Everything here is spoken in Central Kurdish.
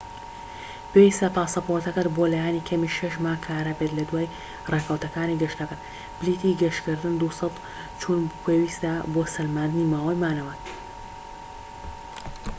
پێویستە پاسەپۆرتەکەت بۆ لایەنی کەمی 6 مانگ کارا بێت لە دوای ڕێکەوتەکانی گەشتەکەت. پلیتی گەشتکردنی دووسەر/چوون پێویستە بۆ سەلماندنی ماوەی مانەوەت